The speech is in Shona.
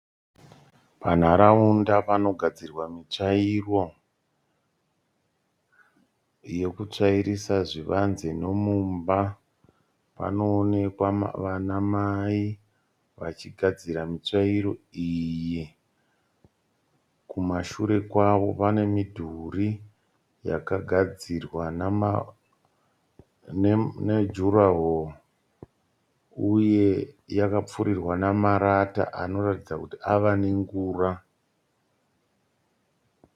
Panharaunda panogadzirwa mitsvairo yekutsvairisa zvivanze nemumba. Panoonekwa vana mai vachigadzira mitsvairo iyi. Kumashure kwavo pane midhuri yakagadzirwa nejuraho uye yakapfurirwa nemarata anoratidza kuti ave nengura.